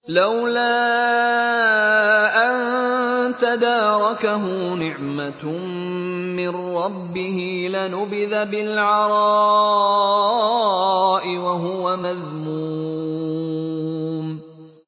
لَّوْلَا أَن تَدَارَكَهُ نِعْمَةٌ مِّن رَّبِّهِ لَنُبِذَ بِالْعَرَاءِ وَهُوَ مَذْمُومٌ